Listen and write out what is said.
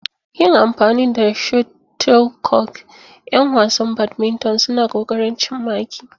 Yin amfani da shuttlecock, 'yan wasan badminton suna ƙoƙarin cin maki.